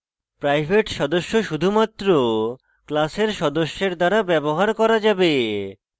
private সদস্য শুধুমাত্র class সদস্যের দ্বারা ব্যবহার করা যাবে